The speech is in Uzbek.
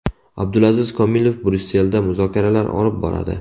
Abdulaziz Komilov Bryusselda muzokaralar olib boradi.